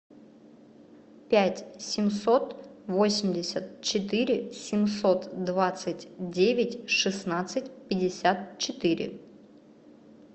пять семьсот восемьдесят четыре семьсот двадцать девять шестнадцать пятьдесят четыре